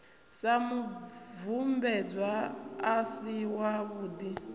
sa mubvumbedzwa a si wavhudi